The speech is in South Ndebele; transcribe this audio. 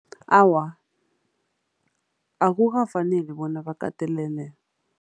Awa, akukafaneli bona bakatelelwe.